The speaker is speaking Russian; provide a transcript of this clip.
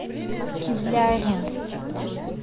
кизляре